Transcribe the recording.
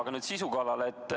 Aga nüüd sisu kallale.